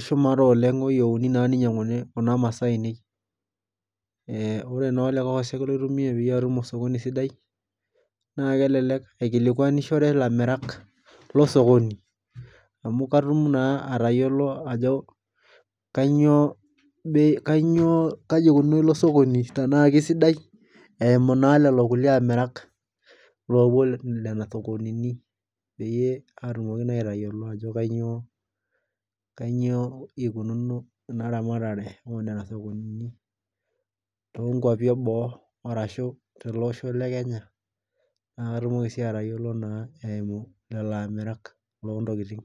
shumata oleng oyiouni naa neinyanguni kuna masaa ainei oree naa olikae osek laitumia paatum osokoni sidai naa kelelek aikilikwanishore ilamirak losokoni amu katuum naa atayiolo ajo kanyio kayiekununo ilo sokoni ana kesidai eimuu naa lolo kulie amirak lopuo nena sokonini peyie atumokii naa aitayiolo ajo kanyio kanyio eikununo ena ramatare oo nana sokonini too nkuapi eboo arashu teleosho le Kenya na katumokii sii atayiolo naa eimu lelo amirak loo ntikitin.